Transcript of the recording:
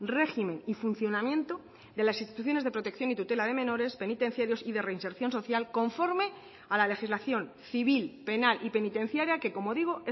régimen y funcionamiento de las instituciones de protección y tutela de menores penitenciarios y de reinserción social conforme a la legislación civil penal y penitenciaria que como digo